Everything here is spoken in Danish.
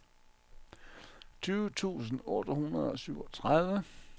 tyve tusind otte hundrede og syvogtredive